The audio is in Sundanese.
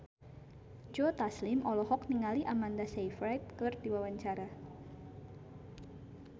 Joe Taslim olohok ningali Amanda Sayfried keur diwawancara